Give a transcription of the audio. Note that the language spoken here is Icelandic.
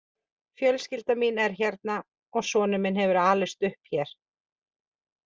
Fjölskyldan mín er hérna og sonur minn hefur alist upp hér.